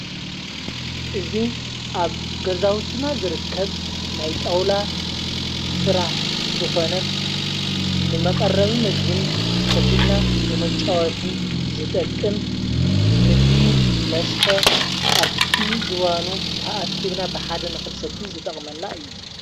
እዙ ኣብ ገዛውትና ዝርከብ ናይጣውላ ሥራሕ ዝኾነ ንመቐረቢ ምግብን ኮፊልና ንመጫወትን ዝጠቅም ምግቢ መስተ ኣብቲ ዝዋኑ ተኣኪብና ብሓደ ንክንሰቲ ዝጠቕመና እዩ።